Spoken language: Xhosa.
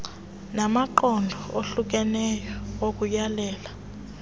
namaqondo ohlukeneyo okuyalela